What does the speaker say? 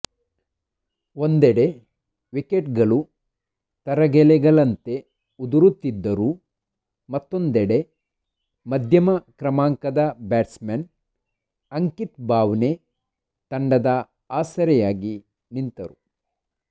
ಒಂದೆಡೆ ವಿಕೆಟ್ಗಳು ತರಗೆಲೆಗಳಂತೆ ಉದುರುತ್ತಿದ್ದರೂ ಮತ್ತೊಂದೆಡೆ ಮಧ್ಯಮ ಕ್ರಮಾಂಕದ ಬ್ಯಾಟ್ಸ್ಮನ್ ಅಂಕಿತ್ ಬಾವ್ನೆ ತಂಡಕ್ಕೆ ಆಸರೆಯಾಗಿ ನಿಂತರು